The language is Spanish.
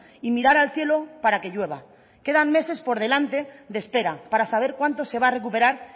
y mirar al cielo para que llueva quedan meses por delante de espera para saber cuánto se va a recuperar